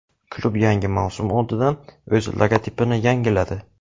Klub yangi mavsum oldidan o‘z logotipini yangiladi.